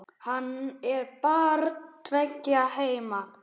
Hann er barn tveggja heima.